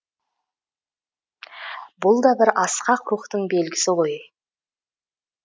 бұл да бір асқақ рухтың белгісі ғой